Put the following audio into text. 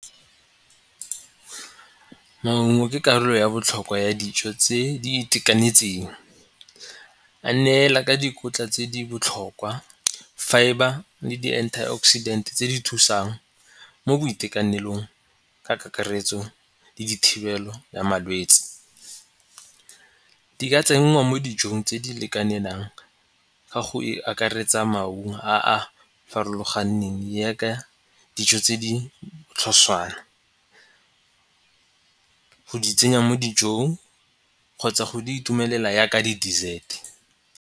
Maungo ke karolo ya botlhokwa ya dijo tse di itekanetseng. A neela ka dikotla tse di botlhokwa fibre le di-antioxidant tse di thusang mo boitekanelong ka kakaretso le dithibelo ya malwetsi. Di ka tsenngwa mo dijong tse di lekanelang ga go e akaretsa maungo a a farologaneng yaka dijo tse di botlhoswana go di tsenya mo dijong kgotsa go di itumelela ya ka di-dessert.